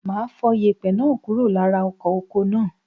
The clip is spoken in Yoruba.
Máa fọ yèpẹ̀ náà kúrò lára ọkọ̀ oko náà.